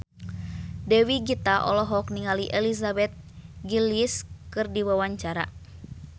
Dewi Gita olohok ningali Elizabeth Gillies keur diwawancara